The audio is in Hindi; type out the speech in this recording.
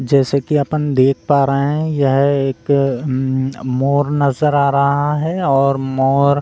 जैसे की अपन देख पा रहे है यह एक मोर नजर आ रहा है और मोर --